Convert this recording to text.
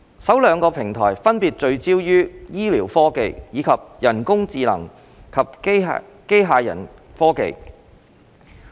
首兩個平台分別聚焦於醫療科技，以及人工智能及機械人科技。